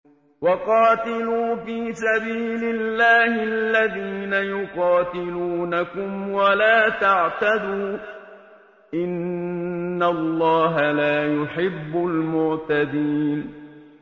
وَقَاتِلُوا فِي سَبِيلِ اللَّهِ الَّذِينَ يُقَاتِلُونَكُمْ وَلَا تَعْتَدُوا ۚ إِنَّ اللَّهَ لَا يُحِبُّ الْمُعْتَدِينَ